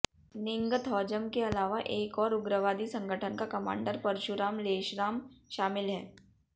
निंगथौजम के अलावा एक और उग्रवादी संगठन का कमांडर परशुराम लेशराम शामिल है